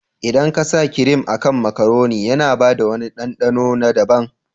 Idan ka sa kirim a kan makaroni, yana bada wani ɗanɗano na daban.